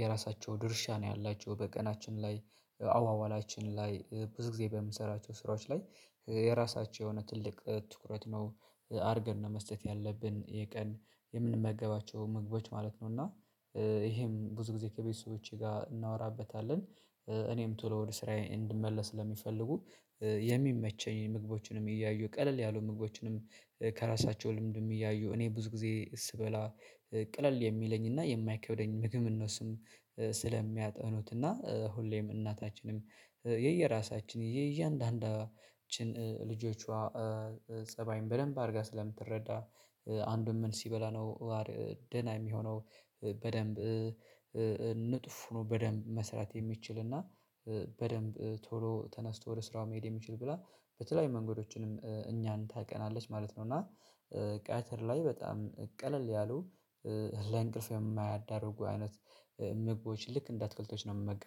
የራሳቸው ድርሻ ነው ያላቸው በቀናችን ላይ። አዋዋላችን ላይ ብዙ ጊዜ በምሰራቸው ስራዎች ላይ የራሳቸው የሆነ ትልቅ ትኩረት ነው አድርገን ነው መስጠት ያለብን የቀን የምንመገባቸው ምግቦች ማለት ነው። እና ይሄም ብዙ ጊዜ ከቤተሰቦቼ ጋር እናወራበታለን። እኔም ቶሎ ወደ ስራዬ እንድመለስ ለሚፈልጉ የሚመቸኝ ምግቦችንም እያዩ ቀለል ያሉ ምግቦችንም ከራሳቸው ልምድም እያዩ እኔ ብዙ ጊዜ ስበላ ቅልል የሚለኝና የማይከብደኝ ምግብ እነሱም ስለሚያጠኑትና ሁሌም እናታችንም የየራሳችን የእያንዳንዳችን ልጆቿ ፀባይን በደንብ አድርጋ ስለምትረዳ አንዱን ምን ሲበላ ነው ደህና የሚሆነው? በደንብ ንቁ ሆኖ በደንብ መስራት የሚችል? እና በደንብ ቶሎ ተነስቶ ወደ ስራው መሄድ የሚችል? ብላ በተለያዩ መንገዶችንም እኛን ታውቀናለች ማለት ነው። እና ቀትር ላይ በጣም ቀለል ያሉ ለእንቅልፍ የማያዳርጉ አይነት ምግቦች ልክ እንደ አትክልቶች ነው የምመገበው